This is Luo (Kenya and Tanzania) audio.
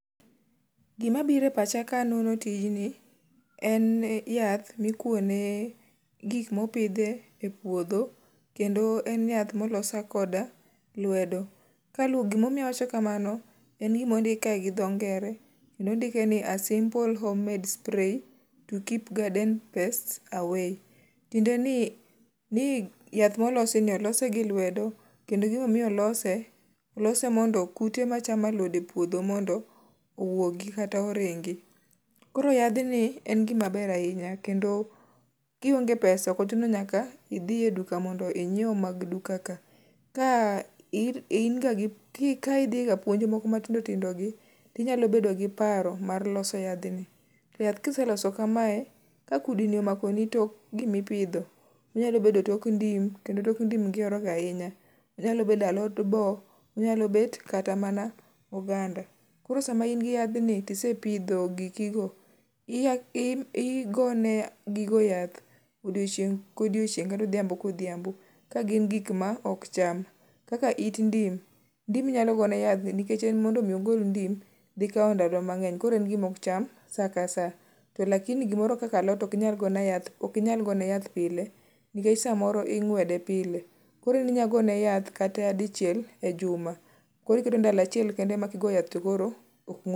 Gima biro e pacha ka nono tijni en ni yath mokuo ne gik mopidhe puodho kendo en yath molos koda lwedo. Gimomiyo awacho kamano en gimondike gi dho ngere kendo ondike ni a simple home-made spray to keep garden pests away. Tiende ni yath molos ni olose gi lwedo. Kendo gimomiyo olose, olose mondo kute machamo alode e puodho mondo owuogi kata oringi. Koro yathni e gima ber ahinya kendo kionge pesa ok ochuno nyaka idhiye duka mondo inyiew mag duka ka. Ka idhi ga puonj mokoo matindo tindo gi, tinyalo bedo gi paro mar loso yadh ni. To yath kiseloso kamae, ka kudni omako ni tok gimipidho, onyalo bedo tok ndim kendo tok ndim gihero ga ahinya. Onyalo bedo alot bo. Onyalo bet kata mana oganda. Koro sama in gi yadh ni tisepidho gikigo, oge ne gigo yath odieochieng' kodiochieng' kata odhiambo kodhiambo ka gin gik ma ok cham. Kaka it ndim, ndim inyalo gone yath nikech en mondo mi ogol ndim dhi kaw ndalo mang'eny koro en gima ok cham sa ka sa. To lakini gimoro kaka alot ok inyal go ne yath pile nikech samoro ing'wede pile. Koro en inya go ne yath kata dichiel e juma. Koro oketo ndalo achiel kende ema kigo yath